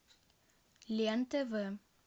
лен тв